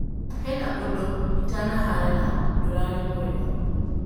"Hena ũndũ itanahara na ndũrarĩ mwega"